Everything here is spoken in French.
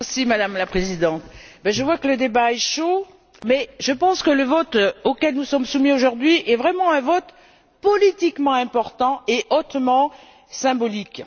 Madame la Présidente, je vois que le débat est chaud, mais je pense que le vote auquel nous sommes soumis, aujourd'hui, est vraiment un vote politiquement important et hautement symbolique.